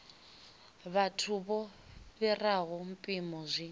vhathu vho fhiraho mpimo zwi